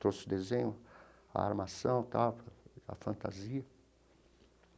Trouxe o desenho, a armação tal, a fantasia.